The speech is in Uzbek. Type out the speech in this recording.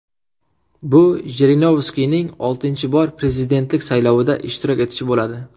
Bu Jirinovskiyning oltinchi bor prezidentlik saylovida ishtirok etishi bo‘ladi.